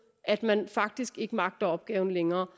at man faktisk ikke magter opgaven længere